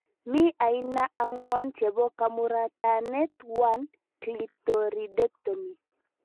Mi aina angwanu chebo kamuratanet 1 : Clitoridectomy